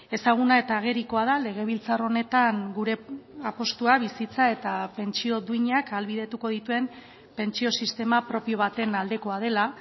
ezaguna eta agerikoa da legebiltzar honetan gure apustua bizitza eta pentsio duinak ahalbidetuko dituen pentsio sistema propio baten aldekoa dela